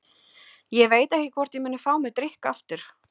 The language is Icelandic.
Ég veit ekki hvort ég muni fá mér drykk aftur.